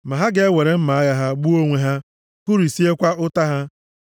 Ma ha ga-ewere mma agha ha gbuo onwe ha, kụrisiekwa ụta ha.